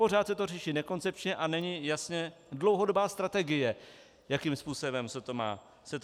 Pořád se to řeší nekoncepčně a není jasná dlouhodobá strategie, jakým způsobem se to má dělat.